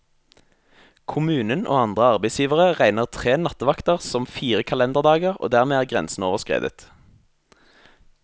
Kommunen og andre arbeidsgivere regner tre nattevakter som fire kalenderdager, og dermed er grensen overskredet.